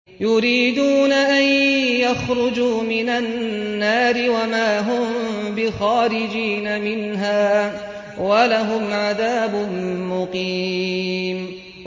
يُرِيدُونَ أَن يَخْرُجُوا مِنَ النَّارِ وَمَا هُم بِخَارِجِينَ مِنْهَا ۖ وَلَهُمْ عَذَابٌ مُّقِيمٌ